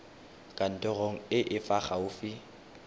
kantorong e e fa gaufi